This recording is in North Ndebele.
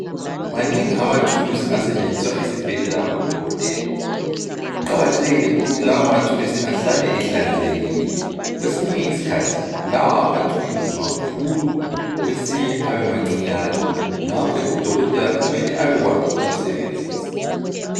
Manengi amathulusi asetshenziswa esibhedlela ngabodokotela Kuqakathekile ukuthi lawo mathulusi ahlale ehlanzekile. Kwesinye isikhathi lawa amathulusi makhulu kwesinye abe mancinyane ngakho udokotela kumele abekwazi ukuwasebenzisa.